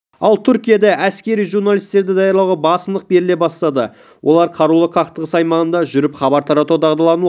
ал түркияда әскери журналистерді даярлауға басымдық беріле бастады олар қарулы қақтығыс аймағында жүріп хабар таратуға дағдылануы